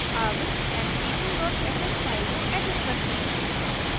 अब empty2 dot sh file को edit करते हैं